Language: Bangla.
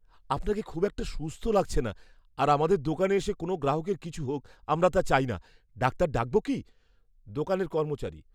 আপনাকে খুব একটা সুস্থ লাগছে না আর আমাদের দোকানে এসে কোনও গ্রাহকের কিছু হোক আমরা তা চাই না। ডাক্তার ডাকব কি? দোকানের কর্মচারী